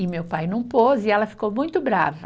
E meu pai não pôs e ela ficou muito brava.